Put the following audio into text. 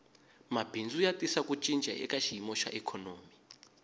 mabindzu ya tisa ku cinca eka xiyimo xa ikhonomi